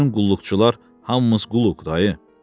Bütün qulluqçular hamımız quluq dayı.